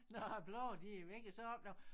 Når æ blade de er væk så opdager